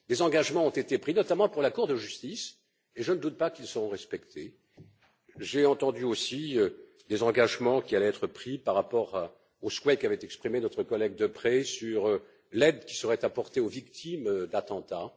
Des engagements ont été pris, notamment pour la Cour de justice, et je ne doute pas qu'ils seront respectés. J'ai entendu aussi des engagements qui allaient être pris par rapport aux souhaits qu'avait exprimés notre collègue Deprez sur l'aide qui serait apportée aux victimes d'attentats.